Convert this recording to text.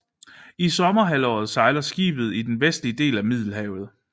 I sommerhalvåret sejler skibet i den vestlige del af Middelhavet